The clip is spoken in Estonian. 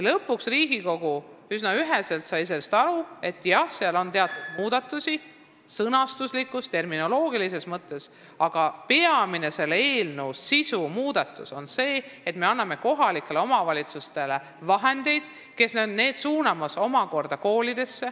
Lõpuks sai Riigikogu üsna üheselt aru: jah, seal on teatud erinevusi sõnastuslikus, terminoloogilises mõttes, aga selle eelnõu peamine sisu ja suurim muudatus on see, et me anname raha kohalikele omavalitsustele, kes omakorda suunavad selle koolidesse.